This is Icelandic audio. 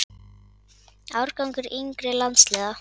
Árangur yngri landsliða?